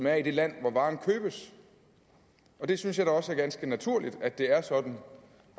er i det land hvori varerne købes det synes jeg da også er ganske naturligt at det er sådan